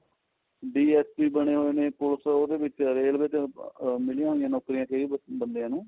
DST ਬਣੇ ਹੋਏ ਨੇ ਉਹਦੇ railway ਦੇ ਵਿਚ ਮਿਲੀਆਂ ਹੋਈਆਂ ਨੋਕਰੀਆਂ ਕਈ ਬੰਦਿਆਂ ਨੂੰ